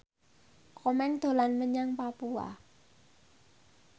Komeng dolan menyang Papua